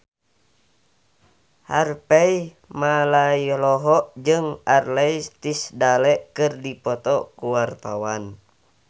Harvey Malaiholo jeung Ashley Tisdale keur dipoto ku wartawan